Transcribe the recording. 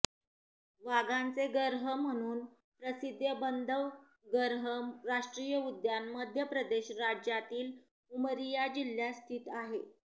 वाघांचे गर्ह म्हणून प्रसिद्ध बंधवगर्ह राष्ट्रीय उद्यान मध्यप्रदेश राज्यातील उमरिया जिल्ह्यात स्थित आहे